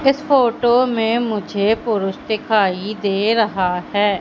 इस फोटो में मुझे पुरुष दिखाई दे रहा हैं।